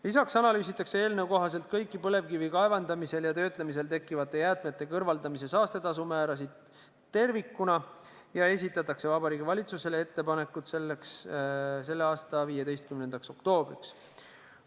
Lisaks analüüsitakse eelnõu kohaselt kõiki põlevkivi kaevandamisel ja töötlemisel tekkivate jäätmete kõrvaldamise saastetasu määrasid tervikuna ja esitatakse Vabariigi Valitsusele ettepanekud selle aasta 15. oktoobriks.